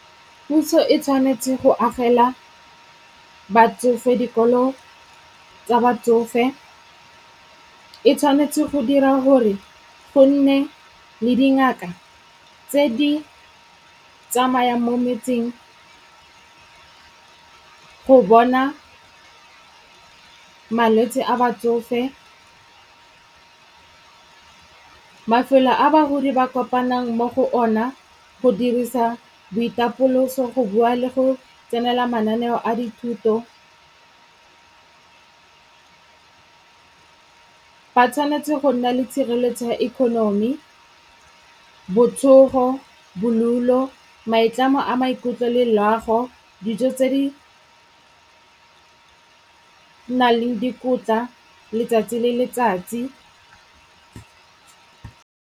Puso e tshwanetse go agela batsofe dikolo tsa batsofe, e tshwanetse go dira gore go nne le dingaka tse di tsamayang mo metseng go bona malwetse a batsofe. Mafelo a bagodi ba kopanang mo go ona go dirisa boitapoloso go bua le go tsenela mananeo a dithuto, ba tshwanetse go nna le tshireletso ya economy, botsogo, bolulo, maitlamo a maikutlo le loago, dijo tse di naleng dikotla letsatsi le letsatsi.